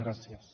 gràcies